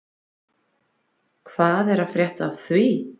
Hvað er að frétta af því?